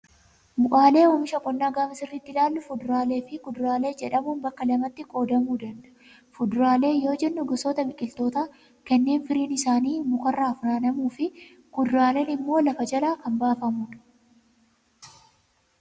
Bu'aaleen oomisha qonnaa gaafa sirriitti ilaallu fuduraalee fi kuduraalee jedhamuun bakka lamatti qoodamuu danda'u. Fuduraalee yoo jennu, gosoota biqilootaa kanneen firiin isaanii mukarraa funaanamuu fi kuduraaleen immoo lafa jalaa baafamu.